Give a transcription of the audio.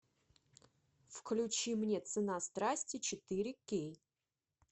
включи мне цена страсти четыре кей